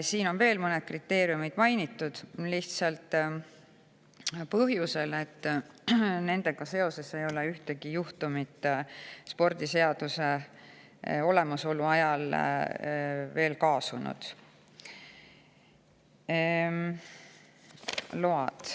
Siin on veel mõned kriteeriumid mainitud, seda lihtsalt põhjusel, et nendega seoses ei ole ühtegi juhtumit spordiseaduse olemasolu ajal aset leidnud.